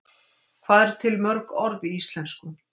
Hvað eru til mörg orð í íslensku?